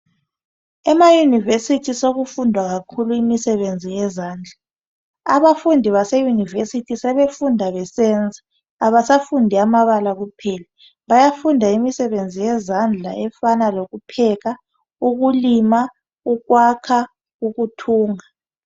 Ema univesithi sokufundwa kakhulu imisebenzi yezandla abafundi be univesithi sebefunda besenza abasafundi amabala kuphela bayafunda imisebenzi yezandla efana lokupheka ukulima ukwakha ukuthunga